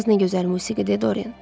Çaldığınız nə gözəl musiqidir, Doren.